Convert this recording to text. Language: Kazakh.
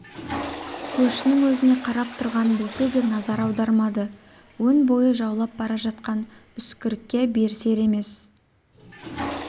көршінің өзіне қарап тұрғанын білсе де назар аудармады өн бойын жаулап бара жатқан үскірікке берісер емес